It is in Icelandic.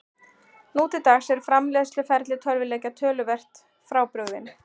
Nú til dags er framleiðsluferli tölvuleikja töluvert frábrugðið.